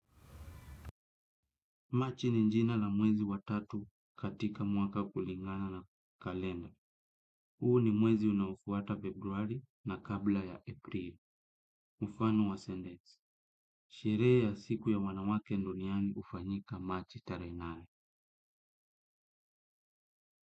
Marchi ni njina la mwezi wa tatu katika mwaka kulingana na kalenda. Huu ni mwezi unaofuata February na kabla ya April. Mufano wa sendezi. Sherehe ya siku ya wanawake nduniani hufanyika marchi tarehe nane.